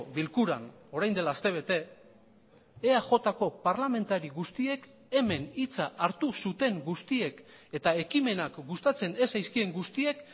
bilkuran orain dela astebete eajko parlamentari guztiek hemen hitza hartu zuten guztiek eta ekimenak gustatzen ez zaizkien guztiek